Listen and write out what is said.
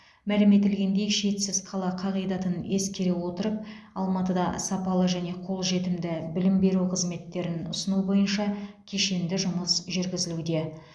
мәлім етілгендей шетсіз қала қағидатын ескере отырып алматыда сапалы және қолжетімді білім беру қызметтерін ұсыну бойынша кешенді жұмыс жүргізілуде